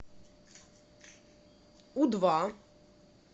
у два